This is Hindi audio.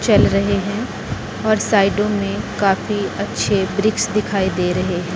चल रहे है और साइडों में काफी अच्छे वृक्ष दिखाई दे रहे हैं।